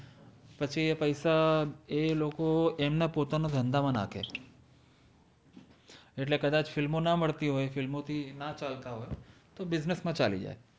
પછિ એ પૈસા એ લોકો એમ્ના પોતાના ધન્ધા મા નાખે એટ્લે કદાજ ફ઼ઇલ્મો ના મલ્તિ હોએ ફ઼ઇલ્મો થિ ના ચલ્તા હોએ તો બિસ્નેસ્સ મા ચાલિ જાએ